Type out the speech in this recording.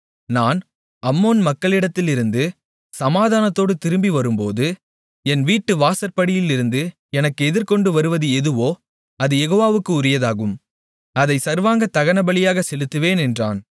நான் அம்மோன் மக்களிடத்திலிருந்து சமாதானத்தோடு திரும்பி வரும்போது என் வீட்டு வாசற்படியிலிருந்து எனக்கு எதிர்கொண்டு வருவது எதுவோ அது யெகோவாவுக்கு உரியதாகும் அதைச் சர்வாங்கதகனபலியாகச் செலுத்துவேன் என்றான்